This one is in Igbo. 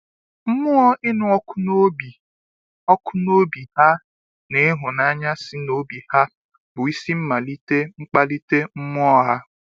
Mmụọ ịnụ ọkụ n'obi ọkụ n'obi ha na ịhụnanya si n'obi ha bụ isi mmalite mkpalite mmụọ ha